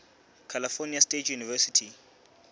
california state university